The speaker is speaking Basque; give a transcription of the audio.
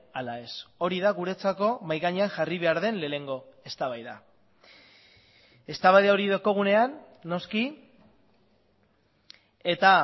ala ez hori da guretzako mahai gainean jarri behar den lehenengo eztabaida eztabaida hori daukagunean noski eta